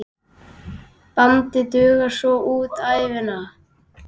Bandið dugar svo út ævina.